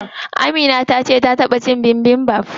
Amina tace ta taɓa cin bibimbap.